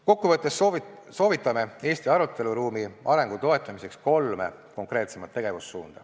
Kokkuvõttes soovitame Eesti aruteluruumi arengu toetamiseks kolme konkreetsemat tegevussuunda.